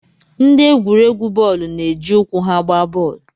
Ndị egwuregwu bọọlụ na-eji ụkwụ ha agba bọọlụ